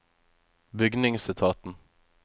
bygningsetaten